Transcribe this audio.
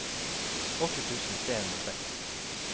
åtte tusen tre hundre og seks